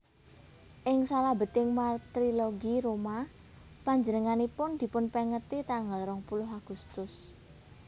Ing salabeting Martirologi Roma panjenenganipun dipunpèngeti tanggal rong puluh Agustus